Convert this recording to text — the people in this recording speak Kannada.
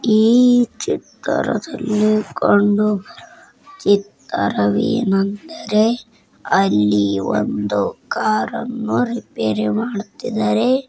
ಈ ಚಿತ್ರದಲ್ಲಿ ಕಂಡು ಬರುವ ಚಿತ್ರವೇನೆಂದರೆ ಅಲ್ಲಿ ಒಂದು ಕಾರ ನ್ನು ರಿಪೇರಿ ಮಾಡ್ತಿದ್ದಾರೆ